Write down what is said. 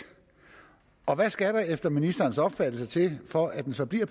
og hvad skal der efter ministerens opfattelse til for at den så bliver